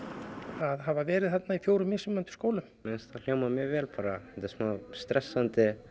að hafa verið í fjórum mismunandi skólum mér finnst þetta hljóma mjög vel bara þetta er smá stressandi